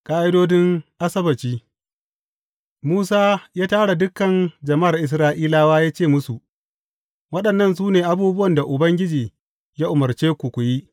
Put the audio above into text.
Ƙa’idodin Asabbaci Musa ya tara dukan jama’ar Isra’ilawa ya ce musu, Waɗannan su ne abubuwan da Ubangiji ya umarce ku, ku yi.